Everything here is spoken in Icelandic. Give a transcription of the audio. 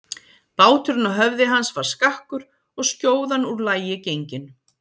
Báturinn á höfði hans var skakkur og skjóðan úr lagi gengin.